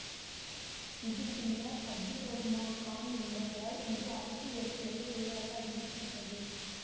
இது பின்னர் அப்துர் ரகுமான் கான் என்பவரால் இது அரசு ஏற்புடைய பெயராக அறிவிக்கப்பட்டது